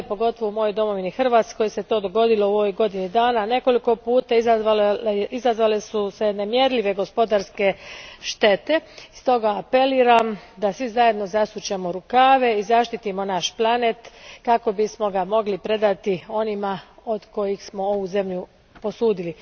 pogotovo u mojoj domovini Hrvatskoj se to u godini dana dogodilo nekoliko puta, izazvale su se nemjerljive gospodarske štete stoga apeliram da svi zajedno zasučemo rukave i zaštitimo naš planet kako bismo ga mogli predati onima od kojih smo ovu zemlju posudili.